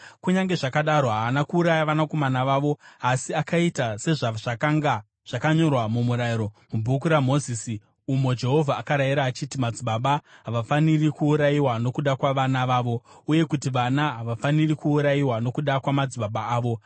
Kunyange zvakadaro haana kuuraya vanakomana vavo asi akaita sezvazvakanga zvakanyorwa muMurayiro, muBhuku raMozisi, umo Jehovha akarayira achiti, “Madzibaba havafaniri kuurayiwa nokuda kwavana vavo, uye kuti vana havafaniri kuurayiwa nokuda kwamadzibaba avo.”